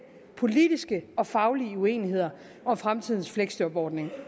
politiske og faglige uenigheder om fremtidens fleksjobordning